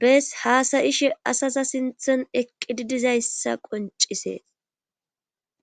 bees haasayishe asaza sinthon eqqidi dizayssa qoncisees